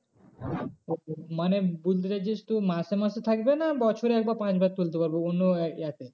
ও মানে বলতে চাইছিস তুই মাসে মাসে থাকবে না বছরে একবার পাঁচবার তুলতে পারবো অন্য এ তে